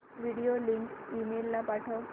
video link email ला पाठव